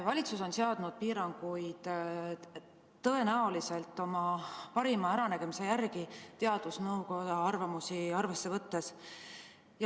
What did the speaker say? Valitsus on seadnud piiranguid tõenäoliselt oma parima äranägemise järgi teadusnõukoja arvamusi arvesse võttes.